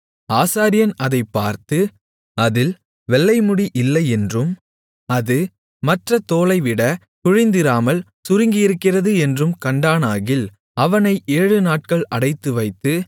ஆசாரியன் அதைப் பார்த்து அதில் வெள்ளைமுடி இல்லை என்றும் அது மற்ற தோலைவிட குழிந்திராமல் சுருங்கியிருக்கிறது என்றும் கண்டானாகில் அவனை ஏழுநாட்கள் அடைத்துவைத்து